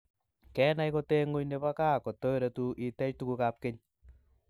kenai koteenguny nebo kaa katoretuu itech tukukab keny